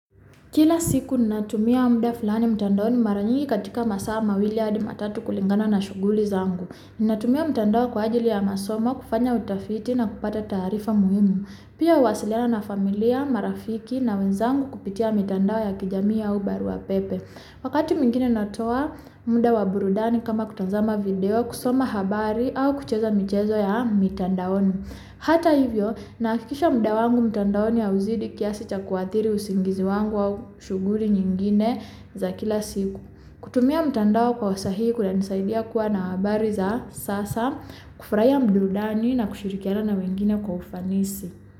Kila siku ni natumia muda fulani mtandaoni maranyingi katika masa ama wili adi matatu kulingana na shoguli zangu. Ni natumia mtandao kwa ajili ya masomo, kufanya utafiti na kupata tarifa muhimu. Pia wasilena na familia, marafiki na wenzangu kupitia mtandao ya kijami ya ubaruwa pepe. Wakati mingine na toa mdawa burudani kama kutanzama video, kusoma habari, au kuchezo mchezo ya mtandao ni. Hata hivyo, nakikisha mdawa mtandao ni ya wuzidiki ya sita kuwathiri usingizi wangu wa shoguli nyingine za kila siku. Kutumia mtandao kwa wasahiku na nisaidi ya kuwa na wabari za sasa, kufuraya mdoda ni na kushirikiana na mingine kufanisi.